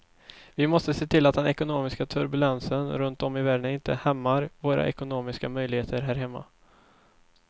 Vi måste se till att den ekonomiska turbulensen runt om i världen inte hämmar våra ekonomiska möjligheter här hemma.